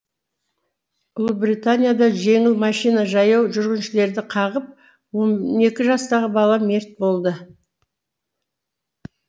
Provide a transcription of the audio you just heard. ұлыбританияда жеңіл машина жаяу жүргіншілерді қағып он екі жастағы бала мерт болды